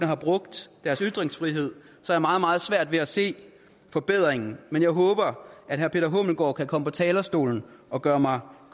have brugt deres ytringsfrihed så meget meget svært ved at se forbedringen men jeg håber at herre peter hummelgaard thomsen kan komme på talerstolen og gøre mig